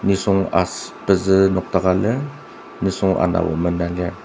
nisung as pezü nokdaka lir nisung anabo Mena lir.